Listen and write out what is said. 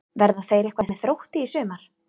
Verða þeir eitthvað með Þrótti í sumar?